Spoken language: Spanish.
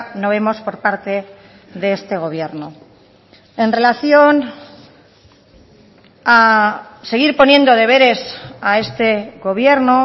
no vemos por parte de este gobierno en relación a seguir poniendo deberes a este gobierno